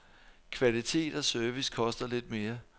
Kvalitet og service koster lidt mere.